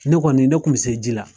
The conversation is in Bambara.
Ne kɔni de kun bi se ji la